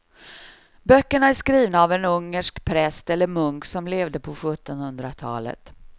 Böckerna är skrivna av en ungersk präst eller munk som levde på sjuttonhundratalet.